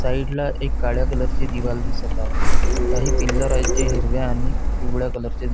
side ला एक काळ्या कलर ची दिवार दिसत आहे काही पिल्लर आहेत जे हिरव्या आणि पिवळ्या कलर चे दिसत --